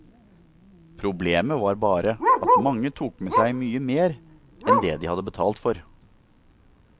Problemet var bare at mange tok med seg mye mer enn det de hadde betalt for.